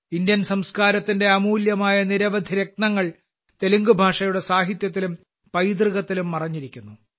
Indian സംസ്കാരത്തിന്റെ അമൂല്യമായ നിരവധി രത്നങ്ങൾ തെലുങ്ക്ഭാഷയുടെ സാഹിത്യത്തിലും പൈതൃകത്തിലും മറഞ്ഞിരിക്കുന്നു